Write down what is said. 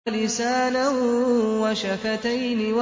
وَلِسَانًا وَشَفَتَيْنِ